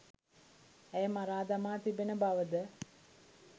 ඇය මරා දමා තිබෙන බවද